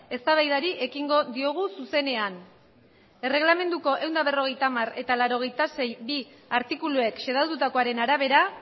eztabaidari ekingo diogu zuzenean erreglamenduko ehun eta berrogeita hamar eta laurogeita sei puntu bi artikuluek xedatutakoaren arabera